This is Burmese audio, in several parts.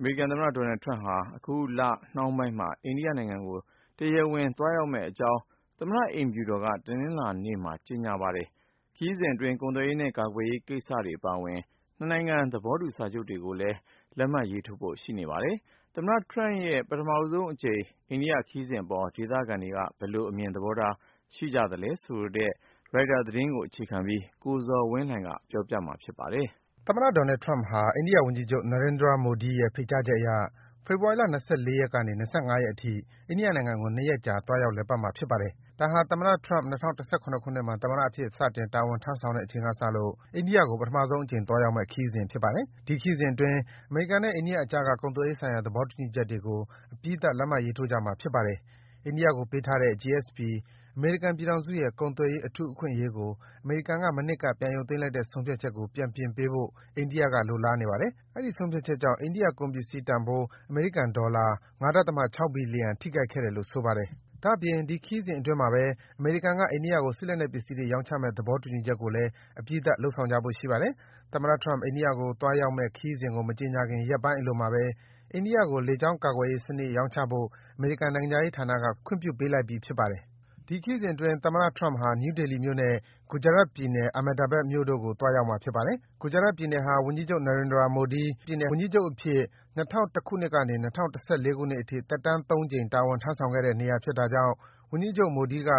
အမေရိကန်သမ္မတ Donald Trump ဟာ အခုလနှောင်းပိုင်းမှာ အိန္ဒိယနိုင်ငံကို တရားဝင် သွားရောက်မယ့်အကြောင်း သမ္မတ အိမ်ဖြူတော်က တနင်္လာနေ့မှာ ကြေညာလိုက်ပါတယ်။ ခရီးစဉ်အတွင်း ကုန်သွယ်ရေးနဲ့ ကာကွယ်ရေးကိစ္စရပ်တွေ အပါအဝင် နှစ်နိုင်ငံ သဘောတူ စာချုပ်တွေကို ချုပ်ဆိုကြဖို့ ရှိနေပါတယ်။ သမ္မတ Trump ရဲ့ ပထမဆုံးအကြိမ် အိန္ဒိယခရီးစဉ်အပေါ် ဒေသခံတွေက ဘယ်လို အမြင် သဘောထားတွေ ရှိကြသလဲဆိုတဲ့ ရိုက်တာသတင်းကို အခြေခံပြီး ကိုဇော်ဝင်းလှိုင်က တင်ပြပေးထားပါတယ်။ သမ္မတ Donald Trump ဟာ အိန္ဒိယဝန်ကြီးချုပ် Narendra Modi ရဲ့ ဖိတ်ကြားချက်အရ ဖော်ဝါရီလ ၂၄ ကနေ ၂၅ ရက်အထိ အိန္ဒိယနိုင်ငံကို ၂ ရက်ကြာ သွားရောက် လည်ပတ်မှာ ဖြစ်ပါတယ်။ ဒါဟာ သမ္မတ Trump ၂၀၁၇ ခုနှစ်မှာ သမ္မတအဖြစ် စတင် တာဝန်ထမ်းဆောင်တဲ့အချိန်ကစလို့ အိန္ဒိယကို ပထမဆုံးအကြိမ် သွားရောက်မယ့် ခရီးစဉ်ဖြစ်ပါတယ်။ ဒီခရီးစဉ်အတွင်း အမေရိကန်နဲ့ အိန္ဒိယအကြားက ကုန်သွယ်ရေးဆိုင်ရာ သဘောတူညီချက်တွေကို အပြီးသတ် လက်မှတ်ရေးထိုးကြမှာ ဖြစ်ပါတယ်။ အိန္ဒိယကိုပေးထားတဲ့ GSP အမေရိကန်ပြည်ထောင်စု ရဲ့ ကုန်သွယ်ရေးအထူးအခွင့်အရေးကို အမေရိကန်က မနှစ်က ပြန်ရုပ်သိမ်းလိုက်တဲ့ ဆုံးဖြတ်ချက်ကို ပြန်ပြင်ပေးဖို့ အိန္ဒိယက လိုလားနေပါတယ်။ အဲဒီ ဆုံးဖြတ်ချက်ကြောင့် အိန္ဒိယကုန်ပစ္စည်းတန်ဖိုး အမေရိကန်ဒေါ်လာ ၅.၆ ဘီလီယံ ထိခိုက်ခဲ့တယ်လို့ ဆိုပါတယ်။ ဒါ့အပြင် ဒီခရီးစဉ်အတွင်းမှာဘဲ အမေရိကန်က အိန္ဒိယကို စစ်လက်နက်ပစ္စည်းတွေ ရောင်းချမယ့် သဘောတူညီချက်ကိုလည်း အပြီးသတ် လုပ်ဆောင်ကြဖို့ ရှိနေပါတယ်။ သမ္မတ Trump အိန္ဒိယကိုသွားရောက်မယ့် ခရီးစဉ်ကို မကြေညာခင် ရက်ပိုင်းအလိုမှာဘဲ အိန္ဒိယကို လေကြောင်းကာကွယ်ရေးစနစ် ရောင်းချဖို့ အမေရိကန်နိုင်ငံခြားရေးဌာနက ခွင့်ပြုပေးလိုက်ပြီး ဖြစ်ပါတယ်။ ဒီခရီးစဉ်အတွင်း သမ္မတ Trump ဟာ နယူးဒေလီမြို့နဲ့ Gujarat ပြည်နယ်၊ Ahmedabad မြို့တို့ကို သွားရောက်မှာ ဖြစ်ပါတယ်။ Gujarat ပြည်နယ်ဟာ ဝန်ကြီးချုပ် Narendra Modi ပြည်နယ်ဝန်ကြီးချုပ်အဖြစ် ၂၀၀၁ ခုနှစ်ကနေ ၂၀၁၄ ခုနှစ်အထိ သက်တမ်း ၃ ကြိမ် တာဝန်ထမ်းဆောင်ခဲ့တဲ့ နေရာဖြစ်တာကြောင့် ဝန်ကြီးချုပ် Modi က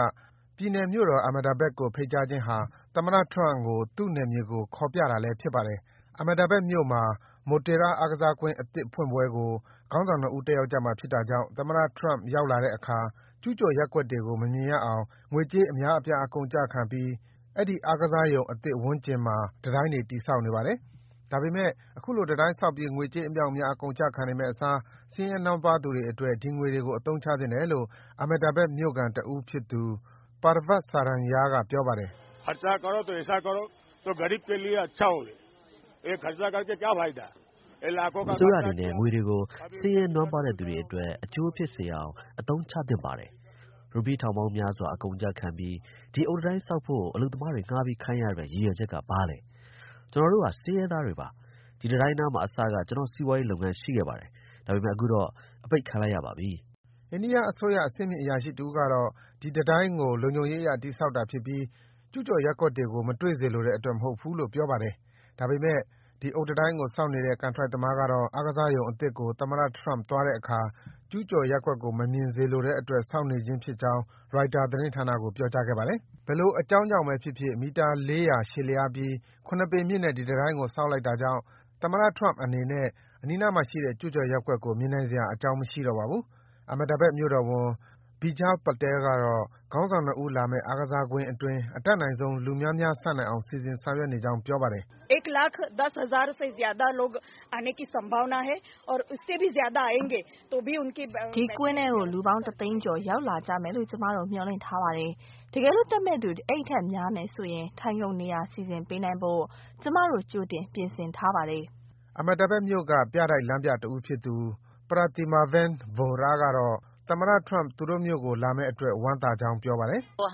ပြည်နယ်မြို့တော် Ahmedabad ကို ဖိတ်ကြားခြင်းဟာ သမ္မတ Trump ကို သူ့နယ်မြေကို ခေါ်ပြတာလည်း ဖြစ်ပါတယ်။ Ahmedabad မြို့မှာ Motera အားကစားကွင်းအသစ်ဖွင့်ပွဲကို ခေါင်းဆောင် ၂ ဦး တက်ရောက်ကြမှာဖြစ်တာကြောင့် သမ္မတ Trump ရောက်လာတဲ့အခါ ကျူးကျော်ရပ်ကွက်တွေကို မမြင်ရအောင် ငွေကြေးအများအပြား အကုန်အကျခံပြီး အဲဒီ အားကစားရုံအသစ်ဝန်းကျင်မှာ တံတိုင်းတွေ တည်ဆောက်နေပါတယ်။ ဒါပေမယ့် အခုလို တံတိုင်းဆောက်ပြီး ငွေကြေးအမြောက်အများ အကုန်အကျခံနေမယ့်အစား ဆင်းရဲနွမ်းပါးသူတွေအတွက် ဒီငွေတွေကို အသုံးချသင့်တယ်လို့ Ahmedabad မြိ့ခံတဦးဖြစ်သူ Parvat Saranya က ပြောပါတယ်။ “အစိုးရအနေနဲ့ ငွေတွေကို ဆင်းရဲနွမ်းပါးတဲ့သူတွေအတွက် အကျိုးဖြစ်စေအောင် အသုံးချသင့်ပါတယ်။ ရူပီးထောင်ပေါင်းများစွာ အကုန်အကျခံပြီး ဒီအုတ်တံတိုင်းဆောက်ဖို့ အလုပ်သမားတွေ ငှားပြီးခိုင်းရတဲ့ ရည်ရွယ်ချက်က ဘာလဲ။ ကျနော်တို့ဟာ ဆင်းရဲသားတွေပါ၊ ဒီတံတိုင်းနားမှာ အစက ကျနော့်စီးပွားလုပ်ငန်းရှိခဲ့ပါတယ်၊ ဒါပေမယ့် အခုတော့ အပိတ်ခံလိုက်ရပါပြီ။” အိန္ဒိယအစိုးရ အဆင့်မြင့် အရာရှိတဦးကတော့ ဒီတံတိုင်းကို လုံခြုံရေးအရ တည်ဆောက်တာဖြစ်ပြီး ကျူးကျော်ရပ်ကွက်တွေကို မတွေ့စေလိုတဲ့အတွက် မဟုတ်ဘူးလို့ ပြောပါတယ်။ ဒါပေမယ့် ဒီအုတ်တံတိုင်းကိုဆောက်နေတဲ့ ကန်ထရိုက်သမားကတော့ အားကစားရုံအသစ်ကို သမ္မတ Trump သွားတဲ့အခါ ကျူးကျော်ရပ်ကွက်ကို မမြင်စေလိုတဲ့အတွက် ဆောက်နေခြင်းဖြစ်ကြောင်း ရိုက်တာသတင်းဌာနကို ပြောကြားခဲ့ပါတယ်။ ဘယ်လို အကြောင်းကြောင့်ဘဲဖြစ်ဖြစ် မီတာ ၄၀၀ ရှည်လျားပြီး ၇ ပေမြင့်တဲ့ ဒီတံတိုင်းကြီး ဆောက်လိုက်တာကြောင့် သမ္မတ Trump အနေနဲ့ အနီးနားမှာရှိတဲ့ ကျူးကျော်ရပ်ကွက်ကို မြင်နိုင်စရာ အကြောင်းမရှိတော့ပါဘူး။ Ahmedabad မြို့တော်ဝန် Bijal Patel ကတော့ ခေါင်းဆောင် ၂ ဦးလာမယ့် အားကစားကွင်းအတွင်း အတတ်နိုင်ဆုံး လူများများဆန့်နိုင်အောင် စီစဉ်ဆောင်ရွက်နေကြောင်း ပြောပါတယ်။ “ဒီကွင်းထဲကို လူပေါင်း တသိန်းကျော် ရောက်လာကြမယ်လို့ ကျမတို့ မျှော်လင့်ထားပါတယ်။ တကယ်လို့ တက်မယ့်သူ အဲဒီထက်များမယ်ဆိုရင် ထိုင်ခုံနေရာ စီစဉ်ပေးနိုင်ဖို့ ကျမတို့ ကြိုတင် ပြင်ဆင်ထားပါတယ်။” Ahmedabad မြို့က ပြတိုက်လမ်းပြတဦးဖြစ်သူ Pratimaben Vohra ကတော့ သမ္မတ Trump သူတို့မြို့ကို လာမယ့်အတွက် ဝမ်းသာကြောင်း ပြောပါတယ်။ “သ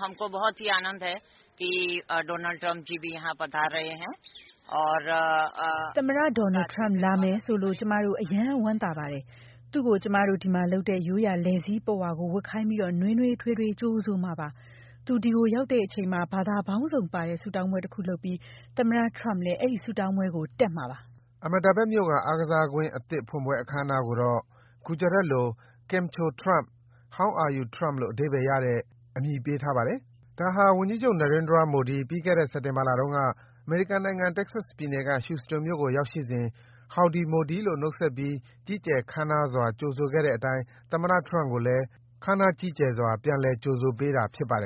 မ္မတ Donald Trump လာမယ်ဆိုလို့ ကျမတို့ အရမ်းဝမ်းသာပါတယ်။ သူ့ကို ကျမတို့ဒီမှာလုပ်တဲ့ ရိုးရာ လည်စည်းပုဝါပတ်ခိုင်းပြီး နွေးထွေးစွာ ကြိုဆိုကြမှာပါ။ သူဒီကိုရောက်လာတဲ့အချိန်မှာ ဘာသာပေါင်းစုံပါတဲ့ ဆုတောင်းပွဲတခုလုပ်ပြီး သမ္မတ Trump လည်း အဲဒီ ဆုတောင်းပွဲကို တက်မှာပါ။” Ahmedabad မြို့က အားကစားကွင်းအသစ်ဖွင့်ပွဲ အခမ်းအနားကိုတော့ Gujarat လို Kem Chho Trump - How Are you, Trump လို့ အဓိပ္ပါယ်ရတဲ့ အမည်ပေးထားတယ်လို့ ဆိုပါတယ်။ ဒါဟာ ဝန်ကြီးချုပ် Narendra Modi ပြီးခဲ့တဲ့နှစ် စက်တင်ဘာလတုန်းက အမေရိကန်နိုင်ငံ Texas ပြည်နယ်က Houston မြို့ကို ရောက်ရှိစဉ် Howdy Modi လို့ နှုတ်ဆက်ပြီး ကြီးကျယ် ခမ်းနားစွာ ကြိုဆိုခဲ့တဲ့အတိုင်း သမ္မတ Trump ကိုလည်း ခမ်းနားကြီးကျယ်စွာ ပြန်လည် ကြိုဆိုပေးတာ ဖြစ်ပါတယ်